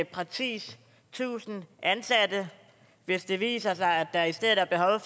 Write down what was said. præcis tusind ansatte hvis det viser sig at der i stedet er behov